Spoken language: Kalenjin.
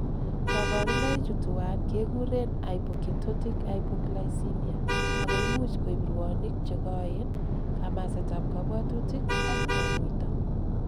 Koburnoichutuwan kekuren hypoketotic hypoglycemia ako imuch koib rwonik chekoen, kamasetab kobwotutik ak tonuito.